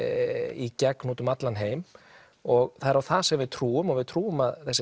í gegn út um allan heim og það er á það sem við trúum við trúum að þessi